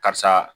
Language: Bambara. Karisa